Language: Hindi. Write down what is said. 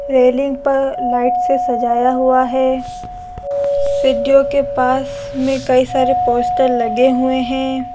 रेलिंग पर लाइट से सजाया गया है सीढ़ियों के पास कई सारे पोस्टर लगे हुए हैं।